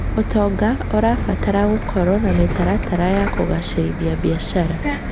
ũtonga ũrabatara gũkorwo na mĩtaratara ya kũgacĩrithia biacara.